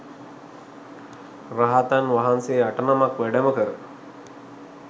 රහතන් වහන්සේ අටනමක් වැඩම කර